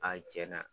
A cɛn na